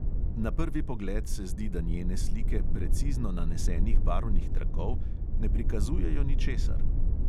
Na prvi pogled se zdi, da njene slike precizno nanesenih barvnih trakov ne prikazujejo ničesar.